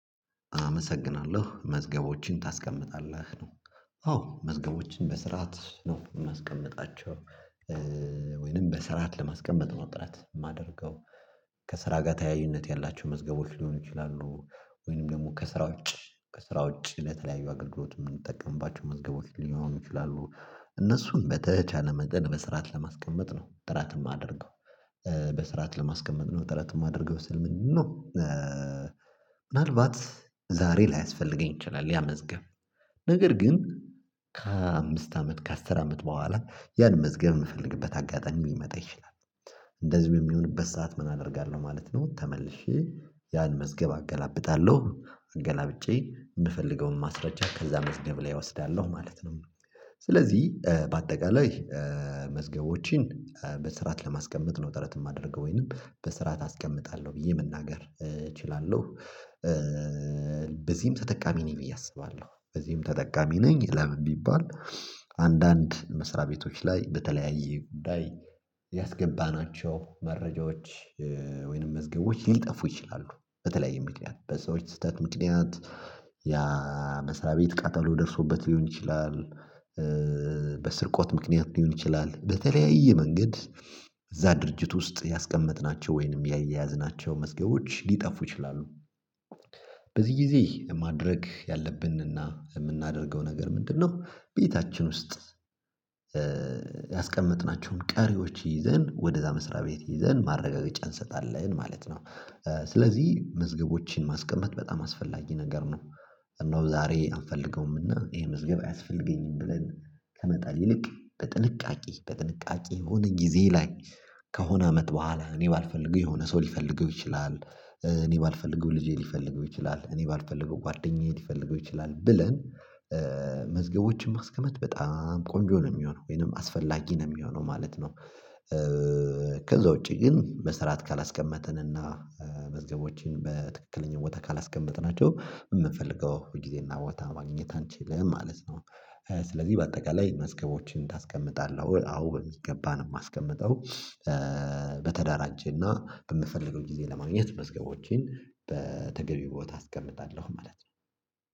አመሰግናለሁ መዝገቦችን ታስቀምጣለህ ነው? አዎ መዝገቦችን በስርዓት ነው የማስቀምጣቸው ማስቀመጣቸው። ወይንም በስራት ለማስቀመጥ ጥረት ማደርገው። ከስራ ጋር ተያያዥነት ያላቸው መዝገቦች ሊሆኑ ይችላሉ። ወይንም ደግሞ ከስራ ውጭ ከስራ ውጭ ለተለያዩ አገልግሎት ምንጠቀምባቸው መዝገቦች ሊሆኑ ይችላሉ። እነሱን በተቻለ መጠን በስርዓት ለማስቀመጥ ነው ጥረትም አድርገው። በስራት ለማስቀመጥ ነው ጥረት የማደርገው ስል ምንድነው? ምናልባት ዛሬ ላይ ላያስፈልገኝ ይችላል ያ መዝገብ ነገር ግን ከአምስት አመት ከአስር አመት በኋላ ያን መዝገብ ምፈልግበት አጋጣሚ ሊመጣ ይችላል። እንደዚሁ የሚሆንበት ሰዓት ምን አደርጋለሁ ማለት ነው? ተመልሼ ያን መዝገብ አገላብጣለሁ አገላብጬ ምፈልገውን ማስረጃ ከዛ መዝገብ ላይ እወስዳለሁ ማለት ነው። ስለዚህ በአጠቃላይ መዝገቦቼን በስርዓት ለማስቀመጥ ነው ጥረት የማደርገው ወይንም በስርዓት አስቀምጣለሁ ብዬ መናገር እችላለሁ። በዚህም ተጠቃሚ ነኝ እያሰባለሁ በዚህም ተጠቃሚ ነኝ። ለምን ቢባል? አንዳንድ መስሪያ ቤቶች ላይ በተለያየ ጉዳይ ያስገባናቸው መረጃዎች ወይንም መዝገቦች ሊጠፉ ይችላሉ። በተለያየ ምክንያት በሰዎች ስህተት ምክንያት ያ መስሪያ ቤት ቃጠሎ ደርሶበት ሊሆን ይችላል። በስርቆት ምክንያት ሊሆን ይችላል በተለያየ መንገድ። እዛ ድርጅት ውስጥ ያስቀመጥናቸው ወይንም ያያዝናቸው መዝገቦች ሊጠፉ ይችላሉ። በዚህ ጊዜ ማድረግ ያለብንና የምናደርገው ነገር ምንድነው? ቤታችን ውስጥ ያስቀመጥናቸውን ቀሪዎች ይዘን ወደዛ መስሪያ ቤት ይዘን ማረጋገጫ እንሰጣለን ማለት ነው። ስለዚህ መዝገቦችን ማስቀመጥ በጣም አስፈላጊ ነገር ነው። እነሆ ዛሬ አንፈልገውምና ይሄ መዝገብ አያስፈልገኝም ብለን ከመጣል ይልቅ በጥንቃቄ በጥንቃቄ ሆነን ጊዜ ላይ ከሆነ አመት በኋላ እኔ ባልፈልገው የሆነ ሰው ሊፈልገው ይችላል። እኔ ባልፈልገው ልጄ ሊፈልገው ይችላል እኔ ባልፈልገው ጓደኛዬ ሊፈልገው ይችላል ብለን መዝገቦችን ማስቀመጥ በጣም ቆንጆ ነው የሚሆነው ወይንም አስፈላጊ ነው የሚሆነው ማለት ነው። ከዛ ውጪ ግን በስርዓት ካላስቀመጥን እና መዝገቦችን በትክክለኛ ቦታ ካላስቀመጥናቸው ምፈልገው ጊዜና ቦታ ማግኘት አንችልም ማለት ነው። ስለዚህ በአጠቃላይ መዝገቦችን እናስቀምጣለን አዎ በሚገባ ነው የማስቀምጠው። በተደራጀና በምፈልገው ጊዜ ለማግኘት መዝገቦቼን በተገቢ ቦታ አስቀምጣለሁ ማለት ነው